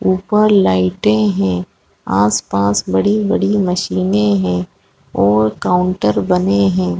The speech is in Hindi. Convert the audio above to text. ऊपर लाइटे है। आस-पास बड़ी-बड़ी मशीने है। और काउंटर बने है।